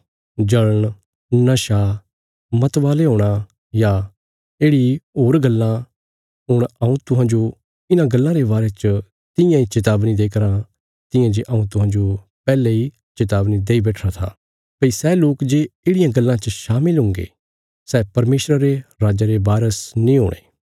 जल़ण नशा मतवाले हूणा या येढ़ि इ होर गल्लां हुण हऊँ तुहांजो इन्हां गल्लां रे बारे च तियां इ चेतावनी देई कराँ तियां जे हऊँ तुहांजो पैहले इ चेतावनी देई बैठिरा था भई सै लोक जे येढ़ियां गल्लां च शामिल हुंगे सै परमेशरा रे राज्जा रे बारस नीं हुणे